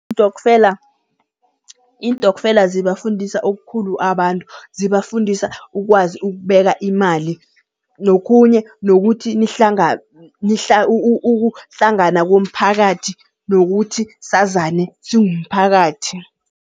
Iintokfela zibafundisa okukhulu abantu, zibafundisa ukwazi ukubeka imali nokhunye nokuthi ukuhlangana komphakathi nokuthi sazane singumphakathi.